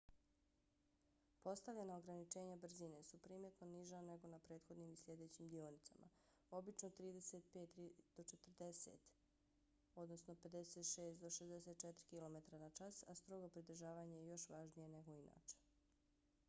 postavljena ograničenja brzine su primjetno niža nego na prethodnim i sljedećim dionicama - obično 35-40 mi/h 56-64 km/ h - a strogo pridržavanje je još važnije nego inače